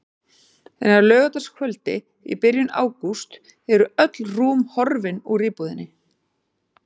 En á laugardagskvöldi í byrjun ágúst eru öll rúm horfin úr búðinni.